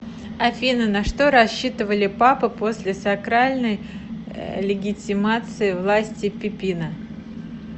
афина на что рассчитывали папы после сакральной легитимации власти пипина